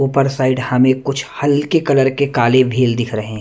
ऊपर साइड हमें कुछ हल्के कलर के काले भेल दिख रहे हैं।